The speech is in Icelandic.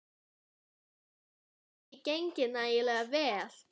Hefur það ekki gengið nægilega vel?